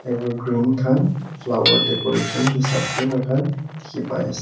evergreen kan flower decoration hisab de moikan diki pai ase.